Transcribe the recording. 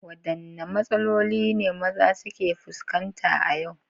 Wadanne matsaloli ne maza suke fuskanta a yau?